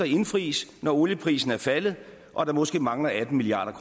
indfries når olieprisen er faldet og der måske mangler atten milliard